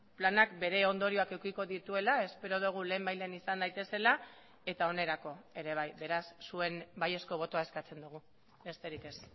planak bere ondorioak edukiko dituela espero dugu lehenbailehen izan daitezela eta onerako ere bai beraz zuen baiezko botoa eskatzen dugu besterik ez